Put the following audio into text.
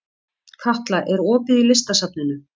Katla, er opið í Listasafninu?